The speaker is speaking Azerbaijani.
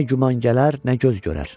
Nə güman gələr, nə göz görər.